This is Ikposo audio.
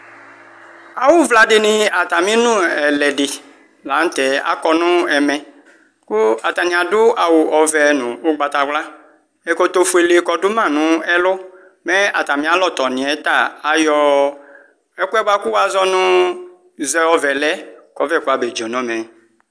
Awʋvla dini atami nʋ ɛlɛdi lanʋtɛ akɔ nʋ ɛmɛ kʋ atani adʋ awʋ ɔvɛ nʋ ʋgbatawla ɛkɔtɔfuele kɔdʋma nʋ ɛlʋ mɛ atami alɔtɔni yɛ ta ayɔ ɛkʋ yɛ wazɔ nʋ zɛɔvɛlɛ kʋ ɔvɛ kɔ famedzo nɔmɛ